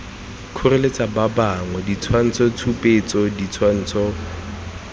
kgoreletsa ba bangwe ditshwantshotshupetso ditshwantsho